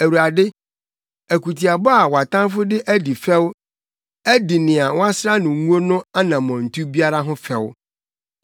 Awurade, akutiabɔ a wʼatamfo de adi fɛw de adi nea woasra no ngo no anammɔntu biara ho fɛw.